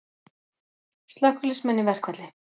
Slökkviliðsmenn í verkfall